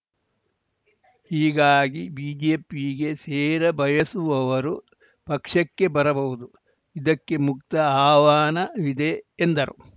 ಹೀಗಾಗಿ ಬಿಜೆಪಿಗೆ ಸೇರ ಬಯಸುವವರು ಪಕ್ಷಕ್ಕೆ ಬರಬಹುದು ಇದಕ್ಕೆ ಮುಕ್ತ ಆಹ್ವಾನವಿದೆ ಎಂದರು